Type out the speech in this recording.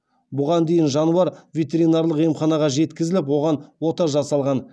бұған дейін жануар ветеринарлық емханаға жеткізіліп оған ота жасалған